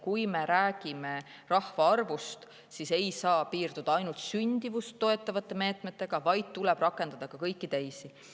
Nii et rahvaarvu mõttes ei saa piirduda ainult sündimust toetavate meetmetega, vaid tuleb rakendada ka kõiki teisi.